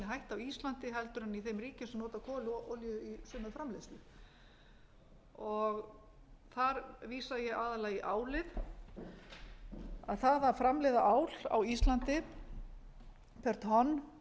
á íslandi en í þeim ríkjum sem nota kol og olíu í sína framleiðslu þar vísa ég aðallega í álið að það að framleiða á l á íslandi per